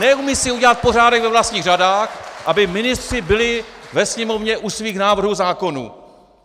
Neumí si udělat pořádek ve vlastních řadách, aby ministři byli ve Sněmovně u svých návrhů zákonů!